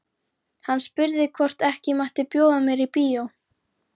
Hann spurði hvort ekki mætti bjóða mér í bíó.